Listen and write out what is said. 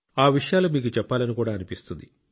ఆ విషయాలు మీకు చెప్పాలని కూడా అనిపిస్తుంది